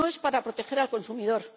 No es para proteger al consumidor.